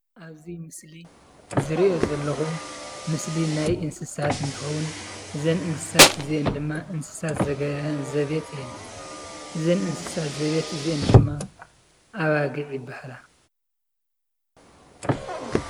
ኣብዚ ምስሊ ዝሪኦ ዘለኹ ምስሊ ናይ እንስሳት እንትኸውን እዘን እንስሳት እዚአን ድማ እንስሳት ዘቤት እየን፡፡ እዘን እንስሳት ዘቤት እዚአን ድማ ኣባጊዕ ይበሃላ፡፡